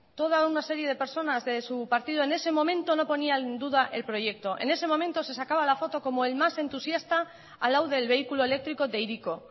toda una serie de personas de su partido no ponían en duda el proyecto en ese momento se sacaba la foto como el más entusiasta al lado del vehículo eléctrico de hiriko